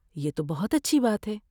یہ تو بہت اچھی بات ہے۔